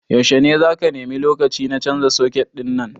Yaushe ne zaka nemi lokaci ka canza suket ɗin nan?